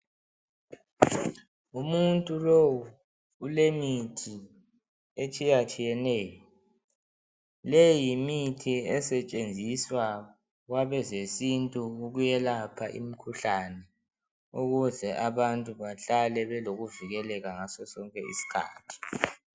Umuntu lowu ulemithi etshiyatshiyeneyo. Leyi yimithi esetshenziswa kwabezesintu ukwelapha imikhuhlane ukuze abantu bahlale belokuvikeleka ngasosonke isikhathi.